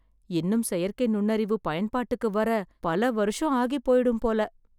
இன்னும் செயற்கை நுண்ணறிவு பயன்பாட்டுக்கு வர பல வருஷம் ஆகி போயிடும் போல